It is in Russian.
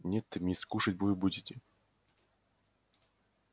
нет мисс кушать вы будете